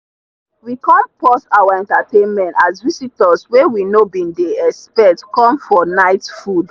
we come pause our entertainment has visitors wey we no bin dey expect come for night food.